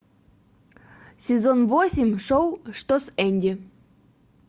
сезон восемь шоу что с энди